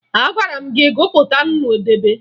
Agwara m gị gụpụta nnu debe!